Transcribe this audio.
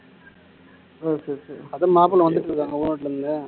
ஓ சரி சரி அதான் மாப்பிளை வந்துட்டு இருக்காங்க